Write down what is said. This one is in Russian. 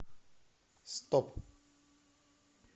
стоп